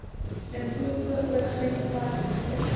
limpopo oorgrenspark verbind